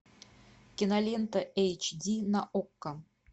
кинолента эйч ди на окко